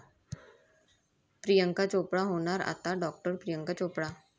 प्रियांका चोप्रा होणार आता डॉ. प्रियांका चोप्रा!